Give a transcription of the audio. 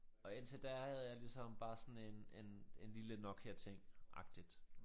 Og indtil da havde jeg ligesom bare sådan en en en lille Nokiating agtigt